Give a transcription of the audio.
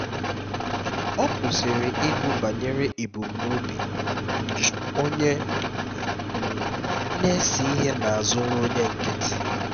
ọ kwụsịrị ịgụ banyere ebumnobi um onye um na-ese ihe n'azụ nrụnye nkịtị